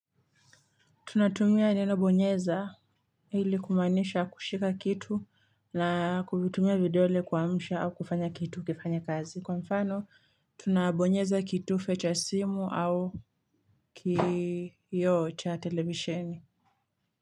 Tunatumia neno bonyeza ili kumaanisha kushika kitu na kuvitumia vidole kuamsha au kufanya kitu ukifanya kazi. Kwa mfano tunabonyeza kitufe cha simu au kiyoo cha televisheni.